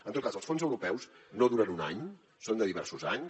en tot cas els fons europeus no duren un any són de diversos anys